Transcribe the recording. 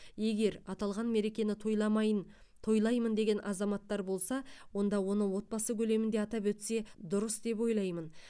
егер аталған мерекені тойламайын тойлаймын деген азаматтар болса онда оны отбасы көлемінде атап өтсе дұрыс деп ойлаймын